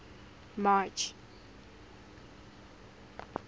march